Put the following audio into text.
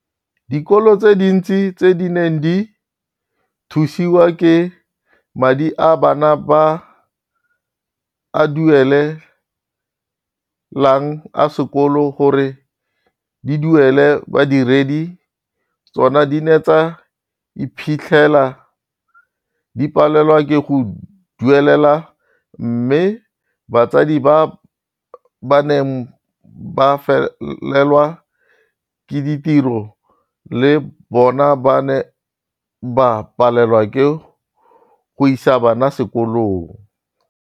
Dikolo tse dintsi tse di neng di thusiwa ke madi a bana ba a duele lang a sekolo gore di duele badiredi ba tsona di ne tsa iphitlhela di palelwa ke go ba duelela mme batsadi ba ba neng ba felelwa ke ditiro le bona ba ne ba palelwa ke go isa bana sekolong.